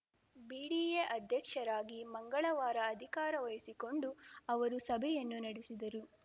BDA ಅಧ್ಯಕ್ಷರಾಗಿ ಮಂಗಳವಾರ ಅಧಿಕಾರ ವಹಿಸಿಕೊಂಡು ಅವರು ಸಭೆಯನ್ನೂ ನಡೆಸಿದರು